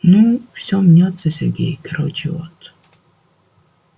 ну все мнётся сергей короче вот